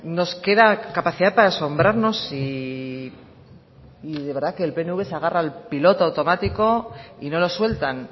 nos queda capacidad para asombrarnos y de verdad que el pnv se agarra al piloto automático y no lo sueltan